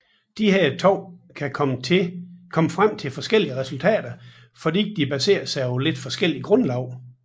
Disse to kan komme frem til forskellige resultater fordi de baserer sig på lidt forskelligt grundlag